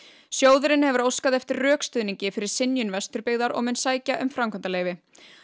sjóðurinn hefur óskað eftir rökstuðningi fyrir synjun Vesturbyggðar og mun sækja um framkvæmdarleyfi